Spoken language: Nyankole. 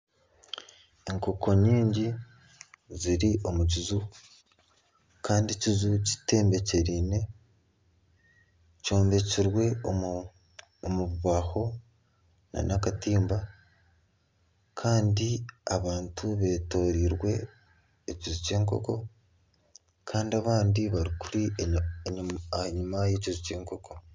Enkoko nyingi ziri omu kiju kandi ekiju kitembekyeriine, kyombekirwe omu mubaaho nana akatimba kandi abantu beetooreirwe ekiju ky'enkoko kandi abandi bari enyima y'ekiju ky'enkoko